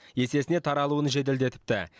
есесіне таралуын жеделдетіпті